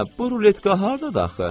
Hə, bu ruletka hardadır axı?